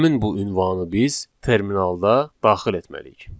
Həmin bu ünvanı biz terminalda daxil etməliyik.